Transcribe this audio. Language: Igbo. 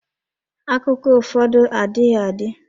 Akụkọ ụfọdụ adịghị adị.